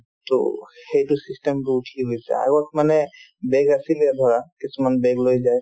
to সেইটো system তো উঠি গৈছে আগত মানে bag আছিলে ধৰা কিছুমান bag লৈ যায়